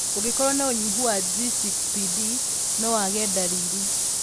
Ũngĩkorwo na ũnyihu wa G6PD no wage ndariri.